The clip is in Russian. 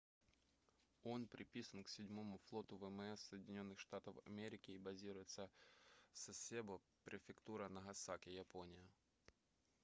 он приписан к 7-му флоту вмс соединенных штатов америки и базируется в сасебо префектура нагасаки япония